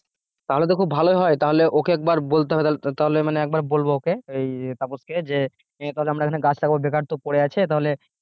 তাহলে তো খুব ভালোই হয় তাহলে ওকে একবার বলতে হবে তাহলে মানে একবার বলবো ওকে ওই তাপস কে যে তাহলে আমরা এখানে গাছ লাগাবো বেকার তোর পড়ে আছে তাহলে